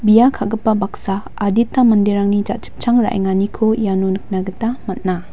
bia ka·gipa baksa adita maderangni ja·chipchang ra·enganiko iano nikna gita man·a.